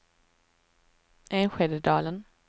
Enskededalen